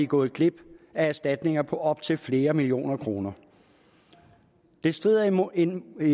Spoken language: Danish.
gået glip af erstatninger på op til flere millioner kroner det strider imod enhver